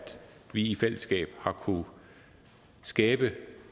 vi i fællesskab har kunnet skabe